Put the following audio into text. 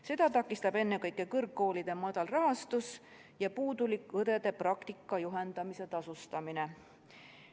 Seda takistab ennekõike kõrgkoolide madal rahastus ja puudulik õdede praktika juhendamise tasustamine.